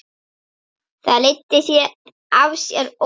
Það leiddi af sér óvissu.